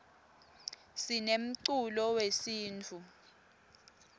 sinemculo wesintfu